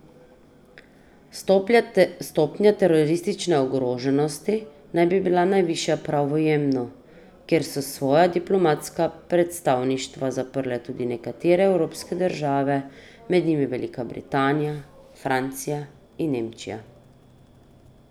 Stopnja teroristične ogroženosti naj bi bila najvišja prav v Jemnu, kjer so svoja diplomatska predstavništva zaprle tudi nekatere evropske države, med njimi Velika Britanija, Francij in Nemčija.